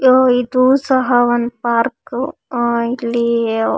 ಆಹ್ಹ್ ಇದು ಸಹ ಒಂದ್ ಪಾರ್ಕ್ ಆಹ್ಹ್ ಇಲ್ಲಿ--